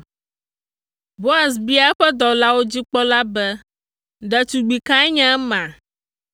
Boaz bia eƒe dɔwɔlawo dzi kpɔla be, “Ɖetugbi kae nye ema?”